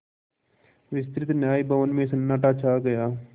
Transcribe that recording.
विस्तृत न्याय भवन में सन्नाटा छा गया